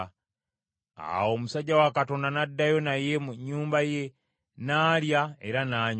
Awo omusajja wa Katonda n’addayo naye mu nnyumba ye n’alya era n’anywa.